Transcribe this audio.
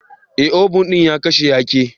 Eh, obun din a kashe ya ke.